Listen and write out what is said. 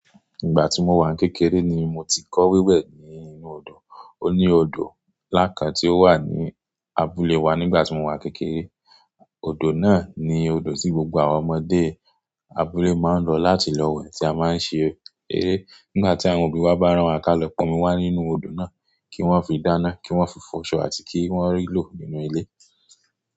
Ìgbà tí mo wà ní kékeré ni mo ti kọ́ wíwẹ̀ ní inú odò. O ní odò ńlá kan tí ó wà ní abúlé wa nígbà tí mo wà kékeré. Odò náà ni odò tí gbogbo àwọn ọmọdé abúlé máa ń lọ láti lọ wẹ̀ tí a máa ń ṣe eré. Nígbà tí àwọn òbí wa bá rán wa ká lọ pọn omi wa nínú odò náà kí wọ́n fi dáná, kí wọ́n fi fọ ọṣọ àti kí wọ́n rí lò nínú ilé.